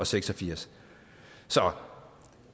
seks og firs